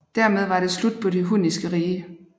Dermed var det slut på det hunniske rige